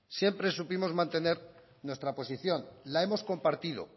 siempre supimos mantener nuestra posición la hemos compartido